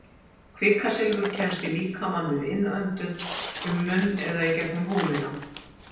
Kvikasilfur kemst í líkamann við innöndun, um munn eða í gegnum húðina.